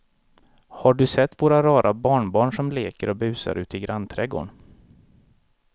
Har du sett våra rara barnbarn som leker och busar ute i grannträdgården!